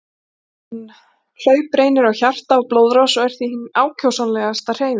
Hlaup reynir á hjarta og blóðrás og er því hin ákjósanlegasta hreyfing.